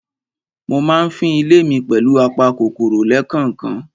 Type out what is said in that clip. Mo ma ń fín ilé mi pẹ̀lù apa kòkòrò lẹ́kànkan.